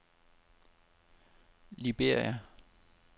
Liberia